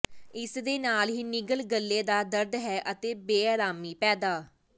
ਇਸ ਦੇ ਨਾਲ ਹੀ ਨਿਗਲ ਗਲ਼ੇ ਦਾ ਦਰਦ ਹੈ ਅਤੇ ਬੇਆਰਾਮੀ ਪੈਦਾ